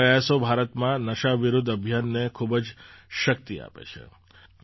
આ પ્રયાસો ભારતમાં નશા વિરુદ્ધ અભિયાનને ખૂબ જ શક્તિ આપે છે